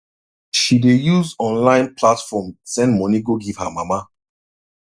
she dey use online platform send money go give her mama